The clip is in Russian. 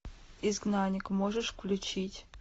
изгнанник можешь включить